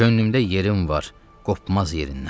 Könlümdə yerim var, qopmaz yerindən.